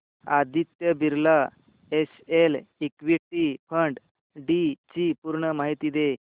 Aditya Birla SL equity fund डी ची पूर्ण माहिती दे